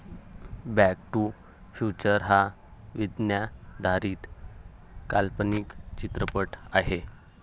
Back to future हा विज्ञाधारीत काल्पनिक चित्रपट आहे.